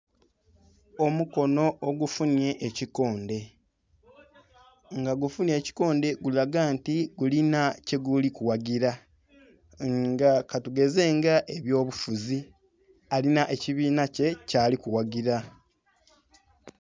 Omukonho ogufunhye ekikondhe nga gufunhye ekikondhe gulaga nti gulina kyeguli ku ghagila nga katugeze nga ebyobufuzi, Alina ekibinha kye kyali kughagila.